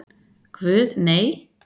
Guð, nei.